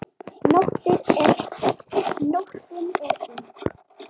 Nóttin er ung